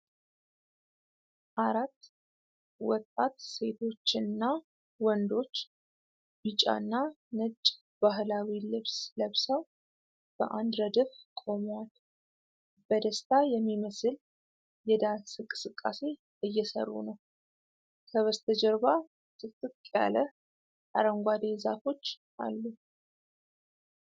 አራት ወጣት ሴቶችና ወንዶች ቢጫና ነጭ ባህላዊ ልብስ ለብሰው በአንድ ረድፍ ቆመዋል። በደስታ የሚመስል የዳንስ እንቅስቃሴ እየሠሩ ነው። ከበስተጀርባ ጥቅጥቅ ያለ አረንጓዴ ዛፎች አሉ።